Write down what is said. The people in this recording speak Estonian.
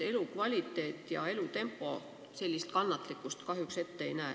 Elukvaliteet ja elutempo sellist kannatlikkust kahjuks ette ei näe.